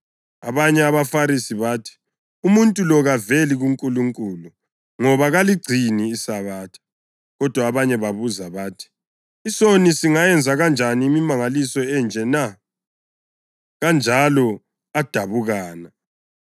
Abanye abaFarisi bathi, “Umuntu lo kaveli kuNkulunkulu ngoba kaligcini iSabatha.” Kodwa abanye babuza bathi, “Isoni singayenza kanjani imimangaliso enje na?” Kanjalo adabukana.